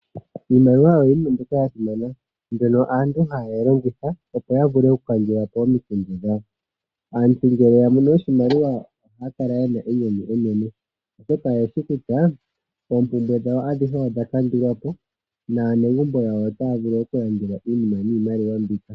Iimaliwa oyo iinima yasimana ndyono aantu haya longitha okukandulapo omikundu dhawo. Aantu ngele yamono oshimaliwa ohaya kala yena enyanyu enene oshoka oye shishi kutya oompumbwe dhawo adhihe odha kandulwapo. Aanegumbo yawo otaya vulu okulandelwa iinima niimaliwa mbika.